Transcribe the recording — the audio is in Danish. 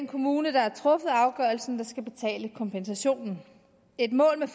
kommune der har truffet afgørelsen der skal betale kompensationen et mål med